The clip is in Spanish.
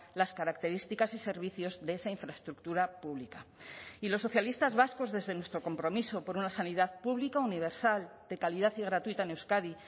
las características y servicios de esa infraestructura pública y los socialistas vascos desde nuestro compromiso por una sanidad pública universal de calidad y gratuita en euskadi